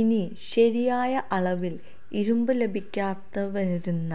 ഇനി ശരിയായ അളവില് ഇരുമ്പ് ലഭിക്കാതെവരുന്ന